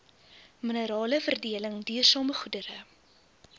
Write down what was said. mineraleveredeling duursame goedere